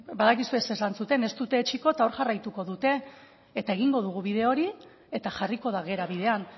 badakizue zer esan zuten ez dute etsiko eta hor jarraituko dute eta egingo dugu bide hori eta jarriko da gera bidean